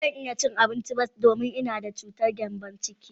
Ba zan iya cin abincin ba, domin ina da cutar gembon ciki.